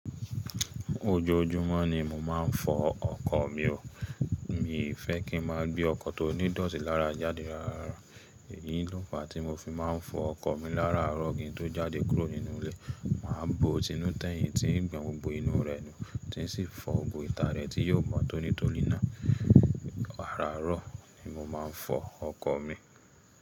Ojoojúmọ́ ni mo máa ń fọ ọkọ̀ mi o, mi ò fẹ́ kí n máa gbé ọkọ̀ tó ní dọ́ọ̀tì lára jáde rárá. Èyí lọ́ fa tí mo fi máa ń fọ ọkọ̀ mi láràárọ̀ kí n tó jáde kúrò nínú ilé. Màá bo tinú tẹ̀yìn tí ń gbọn inú rẹ̀ nù, tí sì fọ gbogbo ìta rẹ̀ tí yóò mọ́ tónítóní ná. Araro, ni mo máa ń fọ ọkọ̀ mi.